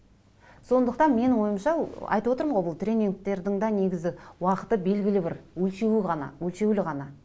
сондықтан менің ойымша айтып отырмын ғой бұл тренингтердің де уақыты белгілі бір өлшеуі ғана өлшеулі ғана